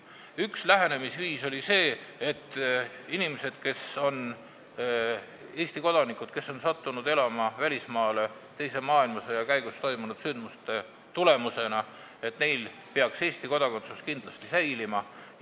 Üks lähenemisviis oli see, et inimestel, kes on Eesti kodanikud ja kes on sattunud välismaale elama teise maailmasõja käigus toimunud sündmuste tulemusena, peaks Eesti kodakondsus kindlasti säilima.